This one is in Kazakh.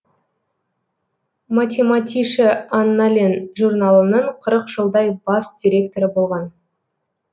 математише аннален журналының қырық жылдай бас редакторы болған